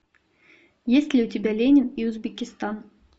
есть ли у тебя ленин и узбекистан